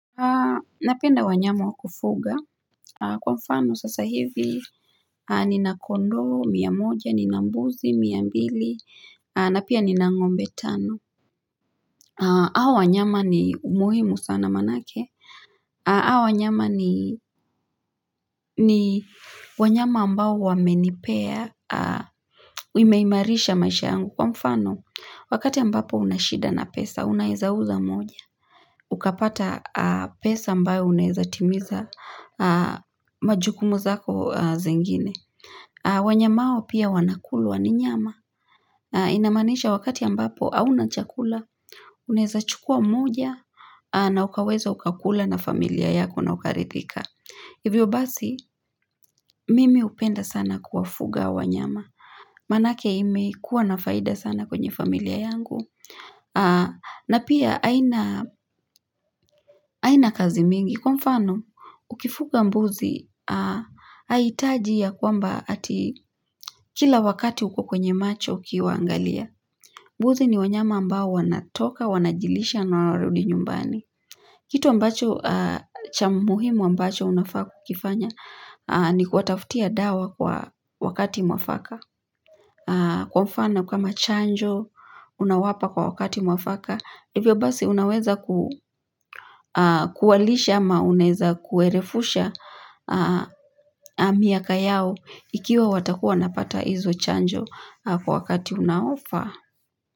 Napenda wanyama wakufuga kwa mfano sasa hivi Nina kondoo mia moja, ninambuzi, mia mbili na pia nina ngombe tano Hawa wanyama ni umuhimu sana manake Awanyama ni wanyama ambao wamenipea imeimarisha maisha yangu kwa mfano Wakati ambapo unashida na pesa, unaezauza moja ukapata pesa ambayo unaeza timiza majukumu zako zingine. Wanyama hao pia wanakuluwa ni nyama. Inamaanisha wakati ambapo auna chakula. Unaeza chukua mmoja na ukaweza ukakula na familia yako na ukarithika. Hivyo basi mimi hupenda sana kuwafuga wanyama. Manake ime kuwa nafaida sana kwenye familia yangu. Na pia haina kazi mingi. Kwa mfano, ukifuga mbuzi, haitajia ya kwamba ati kila wakati uko kwenye macho ukiwaangalia. Mbuzi ni wanyama ambao wanatoka, wanajilisha na wanarudi nyumbani. Kitu ambacho cha muhimu ambacho unafaa kukifanya ni kuwatafutia dawa kwa wakati mwafaka. Kwa mfano kama chanjo, unawapa kwa wakati mwafaka. Hivyo basi unaweza kuwalisha ama unaeza kuerefusha miaka yao ikiwa watakuwa wanapata hizo chanjo kwa wakati unaofaa.